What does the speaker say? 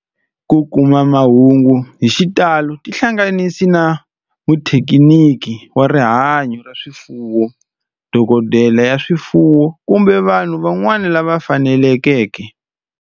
Ku kuma mahungu hi xitalo tihlanganisi na muthekiniki wa rihanyo ra swifuwo, dokodela ya swifuwo, kumbe vanhu van'wana lava fanelekeke.